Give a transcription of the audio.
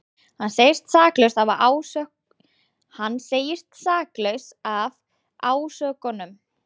Hann segist saklaus af ásökununum